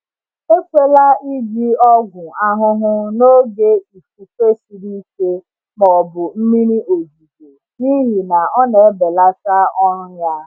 Ekwela iji ọgwụ ahụhụ n’oge ifufe siri ike ma ọ bụ mmiri ozuzo, n’ihi na ọ na-ebelata ọrụ ya.